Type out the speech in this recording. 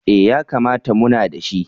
Eh yakamata muna da shi.